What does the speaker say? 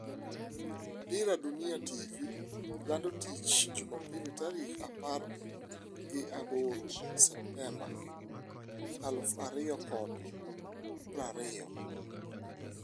Dira Dunia TV lando tich Jumapil tarik apargi aboro septemba aluf ariyo kod prariyo